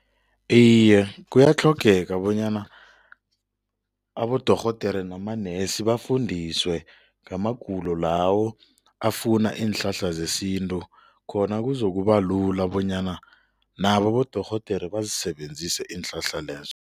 Iye, kuyatlhogeka bonyana abodorhodere namanesi bafundiswe ngamagulo lawo afuna iinhlahla zesintu, khona kuzokuba ula bonyana nabo abodorhodere bazisebenzise iinhlahla lezo.